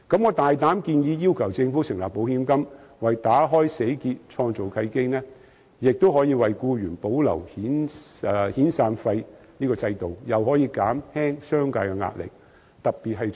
我大膽建議政府成立保險金，為解開死結創造契機，既可為僱員保留遣散費的制度，亦可減輕商界的壓力。